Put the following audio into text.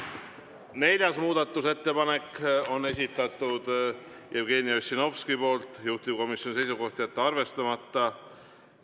Neljanda muudatusettepaneku on esitanud Jevgeni Ossinovski, juhtivkomisjoni seisukoht on jätta arvestamata.